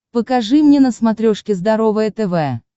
покажи мне на смотрешке здоровое тв